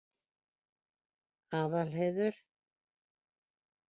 Aðalheiður